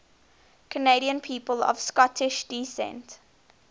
canadian people of scottish descent